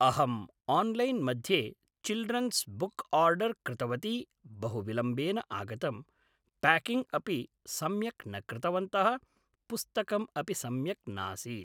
अहम् आन्लैन् मध्ये children's book order कृतवती बहु विलम्बेन आगतम् प्याकिङ्ग् अपि सम्यक् न कृतवन्तः पुस्तकम् अपि सम्यक् नासीत्